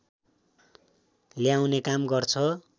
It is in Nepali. ल्याउने काम गर्छ